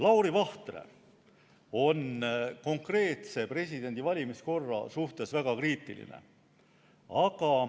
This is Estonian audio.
Lauri Vahtre on konkreetse presidendivalimise korra suhtes väga kriitiline.